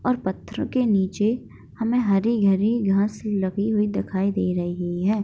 और पत्थर के नीचे हमें हरी-हरी घास लगी हुई दिखाई दे रही है।